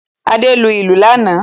Adé lu ìlù lánàá.